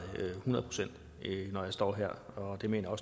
hundrede procent når jeg står her og det mener